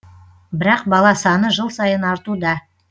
бірақ бала саны жыл сайын артуда